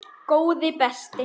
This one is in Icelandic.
Góði besti.